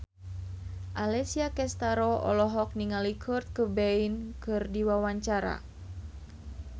Alessia Cestaro olohok ningali Kurt Cobain keur diwawancara